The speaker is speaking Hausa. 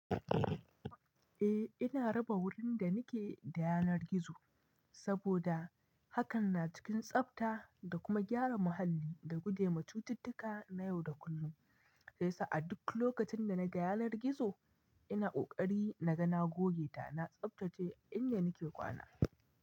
Eh, ina raba wurin da nake da yanar gizo saboda hakan na cikin tsabta da kuma gyara muhalli da guje wa cututtuka na yau da kullum. Sai yasa a duk lokacin da naga yanar gizo ina ƙoƙari na ga na goge ta na tsabtace inda nake kwana.